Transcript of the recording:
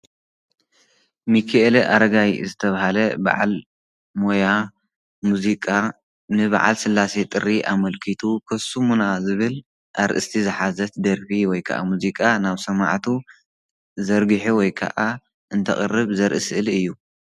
ሚኪኤለ ኣረጋይ ዝተባሃለ ብዓል ሞያ ሙዚቃ ንበዓል ስላሴ ጥሪ ኣመልኪቱ ኮሱሙና ዝብል ኣርእስቲ ዝሓዘት ደርፊ ወይ ከዓ ሙዚቃ ናብ ሰማዕቱ ዘርጊሑ ወይ ከዓ እንተቅርብ ዘሪኢ ስእሊ እዩ።